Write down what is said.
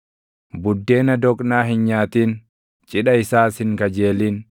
Buddeena doqnaa hin nyaatin; cidha isaas hin kajeelin;